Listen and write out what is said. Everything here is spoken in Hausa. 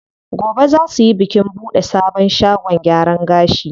Gobe zaa suyi bikin buɗe sabon shagon gyaran gashi.